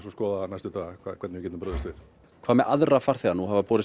skoða næstu daga hvernig við getum brugðist við hvað með aðra farþega nú hafa borist